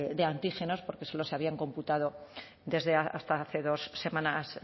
de antígenos porque solo se habían computado desde hasta hace dos semanas